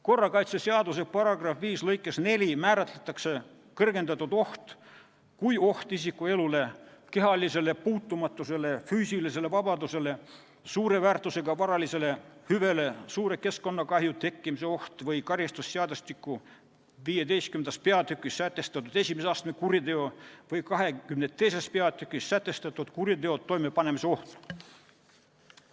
Korrakaitseseaduse § 5 lõikes 4 määratletakse kõrgendatud oht kui oht isiku elule, kehalisele puutumatusele, füüsilisele vabadusele, suure väärtusega varalisele hüvele, suure keskkonnakahju tekkimise oht või karistusseadustiku 15. peatükis sätestatud I astme kuriteo või 22. peatükis sätestatud kuriteo toimepanemise oht.